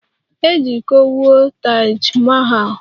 E ji iko wụọ Taj Mahal